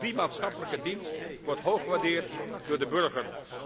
Ook die maatschappelijke dienst wordt hoog gewaardeerd door de burger.